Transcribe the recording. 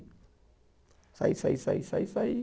Sair, sair, sair, sair, sair.